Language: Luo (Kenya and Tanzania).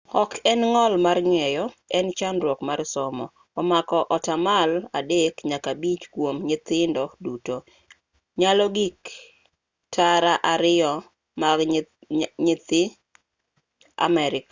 ok en ng'ol mar ng'eyo en chandruok mar somo omako atamalo 3 nyaka 5 kuom nyithindo duto nyalo gik tara 2 mag nyithi amerika